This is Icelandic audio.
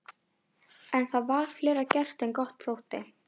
En það var fleira gert en gott þótti.